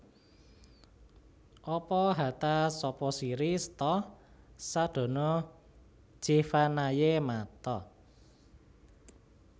Apa hata sapa siri setha sadana jeevanaye Matha